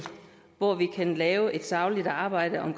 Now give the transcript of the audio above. hvor vi kan lave et sagligt arbejde om